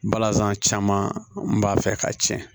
Balazan caman b'a fɛ k'a tiɲɛ